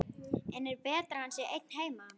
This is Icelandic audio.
En er betra að hann sé einn heima?